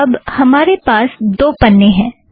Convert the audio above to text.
अब हमारे पास दो पन्ने हैं